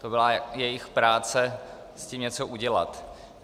To byla jejich práce s tím něco udělat.